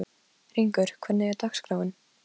Hringur, hvernig er dagskráin?